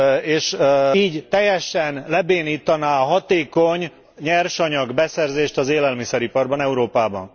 És így teljesen lebénítaná a hatékony nyersanyagbeszerzést az élelmiszeriparban Európában.